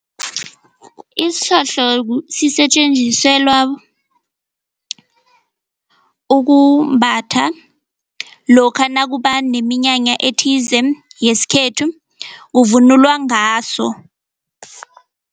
Isihlohlo sisetjenziselwa ukumbatha lokha nakuba neminyanya ethize yesikhethu kuvunulwa ngaso.